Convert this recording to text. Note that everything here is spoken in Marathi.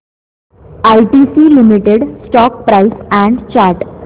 ITC limited stock price and chart